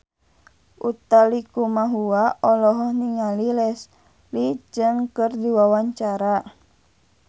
Utha Likumahua olohok ningali Leslie Cheung keur diwawancara